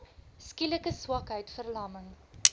skielike swakheid verlamming